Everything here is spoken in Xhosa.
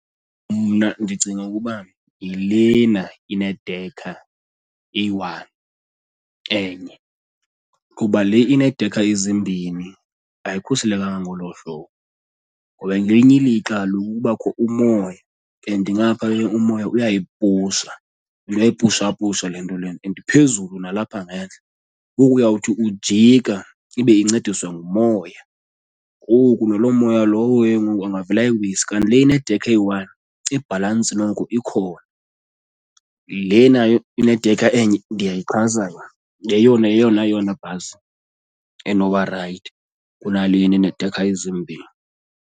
Mna ndicinga ukuba yilena inedekha eyi-one, enye kuba le ineedekha ezimbini ayikhuselekanga ngolo hlobo ngoba ngelinye ilixa kaloku kubakho umoya and ngapha ke umoya uyayipusha, uyayipushapusha le nto le and iphezulu nalapha ngentla ngoku uyawuthi ujika ibe incediswa ngumoya. Ngoku naloo moya lowo ke ngoku angavele ayiwise, kanti le inedekha eyi-one ibhalantsi noko ikhona. Lena inedekha enye ndiyayixhasa yona, ngeyona yeyona yona bhasi enoba rayithi kunalena eneedekha ezimbini.